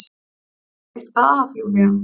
Er eitthvað að Júlía?